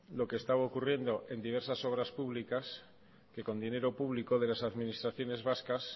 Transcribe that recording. lo que estaba ocurriendo en diversas obras públicas que con dinero público de las administraciones vascas